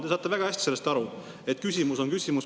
Te saate väga hästi aru, et küsimus on küsimus.